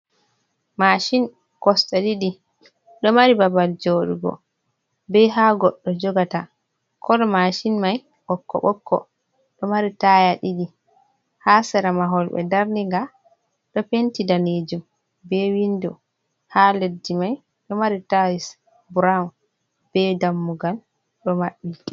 Mashin kosɗe ɗiɗi ɗo mari babal joɗugo, be ha goɗɗo jogata, kolo mashin mai ɓokko ɓokko, ɗo mari taya ɗiɗi, ha sera mahol be darniga, ɗo penti danejum be windo, ha leddi mai ɗo mari tayels brawn be dammugal ɗo maɓɓi.